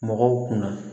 Mɔgɔw kunna